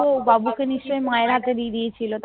বাবু বাবু কে নিশ্চই মা এর হাতে দিয়ে দিয়েছিলো